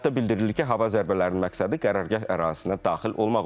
Bəyanatda bildirilib ki, hava zərbələrinin məqsədi qərargah ərazisinə daxil olmaq olub.